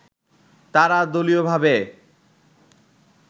তারা দলীয়ভাবে